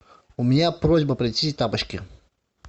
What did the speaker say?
у меня просьба принести тапочки